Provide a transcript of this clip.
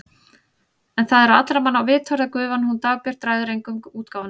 En það er á allra manna vitorði að gufan hún Dagbjört ræður engu um útgáfuna.